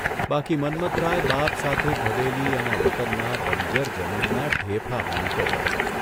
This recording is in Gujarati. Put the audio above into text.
બાકી મન્મથરાય બાપ સાથે ભદેલી એના વતનમાં બંજર જમીનમાં ઢેફા ભાંગતો હોત !